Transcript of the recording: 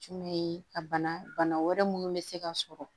Jumɛn ye a bana wɛrɛ minnu bɛ se ka sɔrɔ